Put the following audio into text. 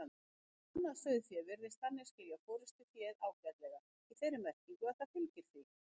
Annað sauðfé virðist þannig skilja forystuféð ágætlega, í þeirri merkingu að það fylgir því.